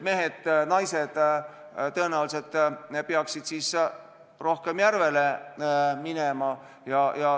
Mehed ja naised tõenäoliselt peaksid siis rohkem järvele minema.